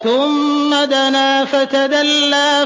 ثُمَّ دَنَا فَتَدَلَّىٰ